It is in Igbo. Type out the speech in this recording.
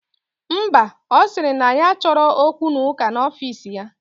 Ḿbà, osiri na ya achoro okwu na uka na ofis ya.